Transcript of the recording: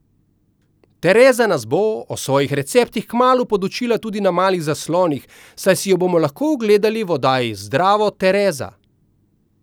Tereza nas bo o svojih receptih kmalu podučila tudi na malih zaslonih, saj si jo bomo lahko ogledali v oddaji Zdravo, Tereza!